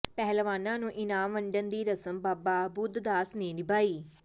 ਪਹਿਲਵਾਨਾਂ ਨੂੰ ਇਨਾਮ ਵੰਡਣ ਦੀ ਰਸਮ ਬਾਬਾ ਬੁੱਧ ਦਾਸ ਨੇ ਨਿਭਾਈ